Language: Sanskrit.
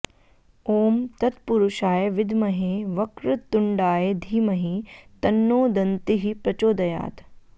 ॐ तत्पुरुषाय विद्महे वक्रतुण्डाय धीमहि तन्नो दन्तिः प्रचोदयात्